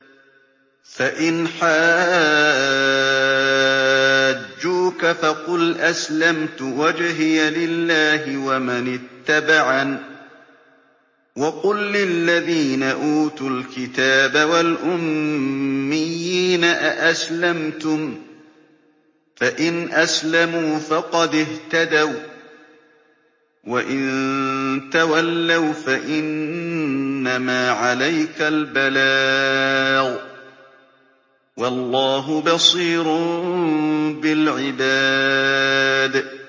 فَإِنْ حَاجُّوكَ فَقُلْ أَسْلَمْتُ وَجْهِيَ لِلَّهِ وَمَنِ اتَّبَعَنِ ۗ وَقُل لِّلَّذِينَ أُوتُوا الْكِتَابَ وَالْأُمِّيِّينَ أَأَسْلَمْتُمْ ۚ فَإِنْ أَسْلَمُوا فَقَدِ اهْتَدَوا ۖ وَّإِن تَوَلَّوْا فَإِنَّمَا عَلَيْكَ الْبَلَاغُ ۗ وَاللَّهُ بَصِيرٌ بِالْعِبَادِ